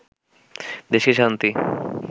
দেশকে শান্তি